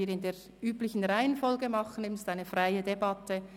Wir führen eine freie Debatte.